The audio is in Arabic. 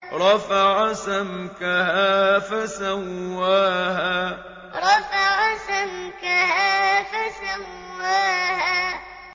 رَفَعَ سَمْكَهَا فَسَوَّاهَا رَفَعَ سَمْكَهَا فَسَوَّاهَا